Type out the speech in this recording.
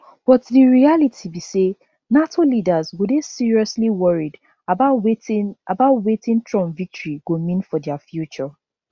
but di reality be say nato leaders go dey seriously worried about wetin about wetin trump victory go mean for dia future